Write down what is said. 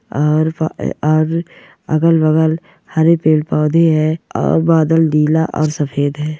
और फ अ और अगल बगल हरे पेड़ पौंधे है और बादल नीला और सफेद है।